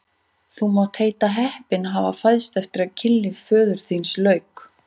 Þú mátt heita heppinn að hafa fæðst eftir að kynlífi föður þíns lauk!